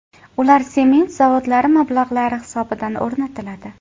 Ular sement zavodlari mablag‘lari hisobidan o‘rnatiladi.